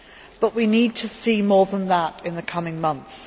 But we need to see more than that in the coming months.